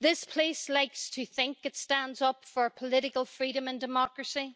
This House likes to think it stands up for political freedom and democracy.